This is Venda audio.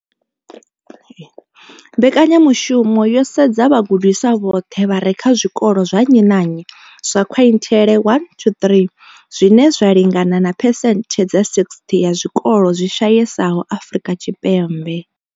Mbekanya mushumo yo sedza vhagudiswa vhoṱhe vha re kha zwikolo zwa nnyi na nnyi zwa quintile 1-3, zwine zwa lingana na phesenthe dza 60 ya zwikolo zwi shayesaho Afrika Tshipembe.